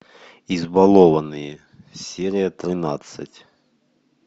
избалованные серия тринадцать